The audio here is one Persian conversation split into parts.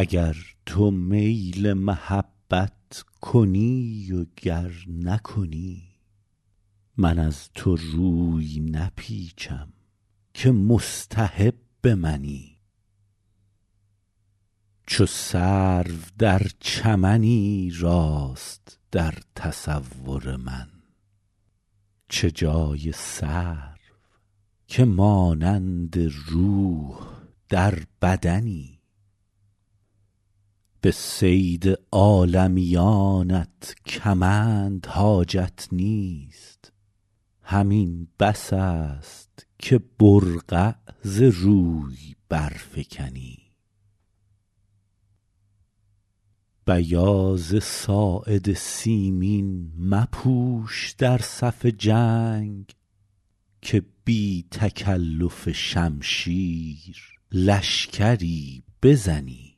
اگر تو میل محبت کنی و گر نکنی من از تو روی نپیچم که مستحب منی چو سرو در چمنی راست در تصور من چه جای سرو که مانند روح در بدنی به صید عالمیانت کمند حاجت نیست همین بس است که برقع ز روی برفکنی بیاض ساعد سیمین مپوش در صف جنگ که بی تکلف شمشیر لشکری بزنی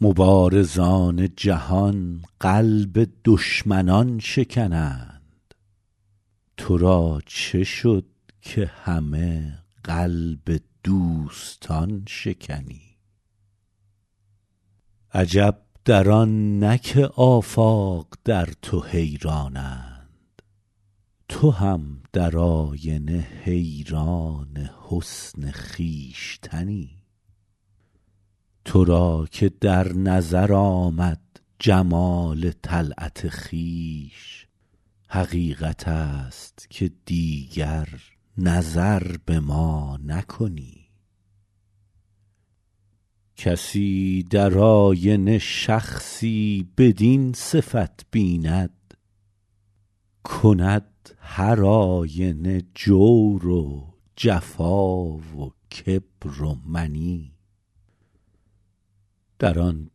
مبارزان جهان قلب دشمنان شکنند تو را چه شد که همه قلب دوستان شکنی عجب در آن نه که آفاق در تو حیرانند تو هم در آینه حیران حسن خویشتنی تو را که در نظر آمد جمال طلعت خویش حقیقت است که دیگر نظر به ما نکنی کسی در آینه شخصی بدین صفت بیند کند هرآینه جور و جفا و کبر و منی در آن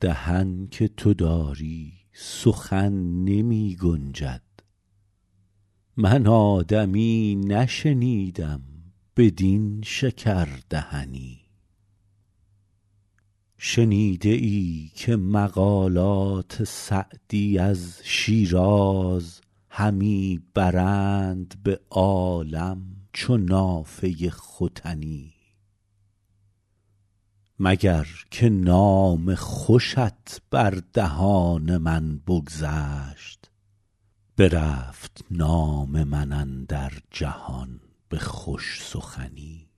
دهن که تو داری سخن نمی گنجد من آدمی نشنیدم بدین شکردهنی شنیده ای که مقالات سعدی از شیراز همی برند به عالم چو نافه ختنی مگر که نام خوشت بر دهان من بگذشت برفت نام من اندر جهان به خوش سخنی